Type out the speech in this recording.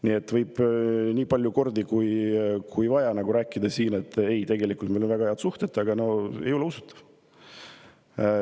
Nii et meile siin võib nii palju kordi, kui vaja, rääkida, et meil on väga head suhted, aga no see ei ole usutav.